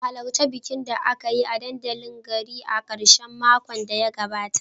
Ku halarci bikin da aka yi a dandalin garin a karshen makon da ya gabata